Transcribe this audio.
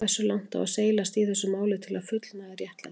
Hversu langt á seilast í þessu máli til að fullnægja réttlætinu?